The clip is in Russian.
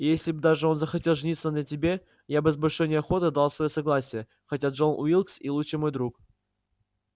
и если бы даже он захотел жениться на тебе я бы с большой неохотой дал своё согласие хотя джон уилкс и лучший мой друг